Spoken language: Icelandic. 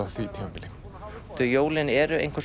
á því tímabili því jólin eru einhvers